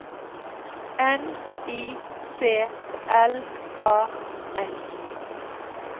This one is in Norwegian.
N I C L A S